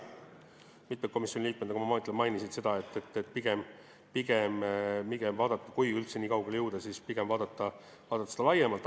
Mitmed komisjoni liikmed, nagu ma ütlesin, mainisid, et kui üldse nii kaugele jõuda, siis pigem tuleks vaadata seda laiemalt.